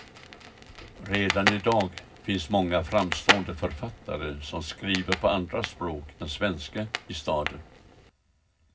Redan idag finns många framstående författare som skriver på andra språk än svenska i staden.